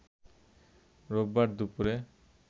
রোববার দুপুরে